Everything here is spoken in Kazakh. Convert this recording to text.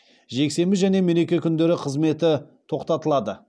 жексенбі және мереке күндері қызметі тоқтатылады